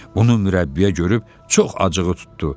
Bunu mürəbbiyə görüb çox acığı tutdu.